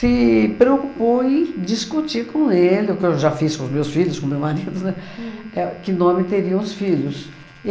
se preocupou em discutir com ele, o que eu já fiz com meus filhos, com meu marido, né, éh que nome teriam os filhos.